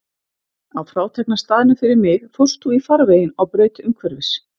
Á frátekna staðnum fyrir mig fórst þú í farveginn á braut umhverfis.